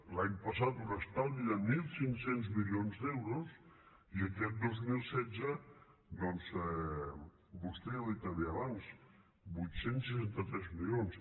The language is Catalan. l’any passat un estalvi de mil cinc cents milions d’euros i aquest dos mil setze doncs vostè ja ho ha dit també abans vuit cents i seixanta tres milions